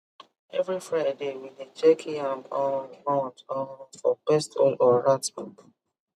every friday we dey check yam um mound um for pest hole or rat poop